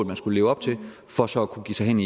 man skulle leve op til for så at kunne give sig hen